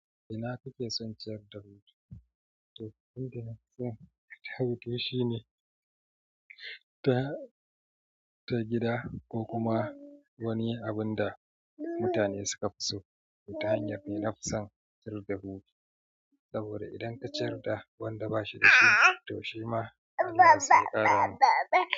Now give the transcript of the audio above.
Ina kike son ciyar da wuta? To, abin da nake son ciyar da wuta shi ne sabida gida ko kuma wani abunda da mutane suka fi so ta hanyar kai na fusan ciyar da wuta. Saboda idan ka ciyar da wanda ba shi da shi, to shi ma an iya saƙa.